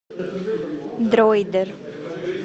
дройдер